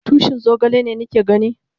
Tushin zogale ne ni ke gani?